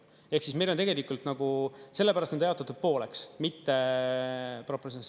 Ehk siis meil tegelikult sellepärast on ta jaotatud, pooleks, mitte proportsioonis.